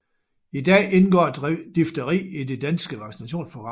I dag indgår difteri i det danske vaccinationsprogram